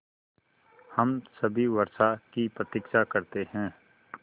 हम सभी वर्षा की प्रतीक्षा करते हैं